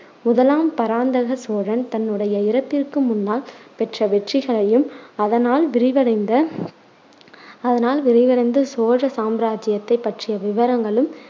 முதலாம் பராந்தக சோழன் தன்னுடைய இறப்பிற்கு முன்னால் பெற்ற வெற்றிகளையும் அதனால் விரிவடைந்த அதனால் விரிவடைந்த சோழ சாம்ராஜ்ஜியத்தைப் பற்றிய விவரங்களும்